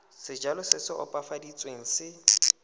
sejalo se se opafaditsweng se